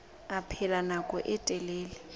a phela nako e telele